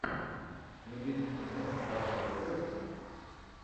набери кино розарио доусон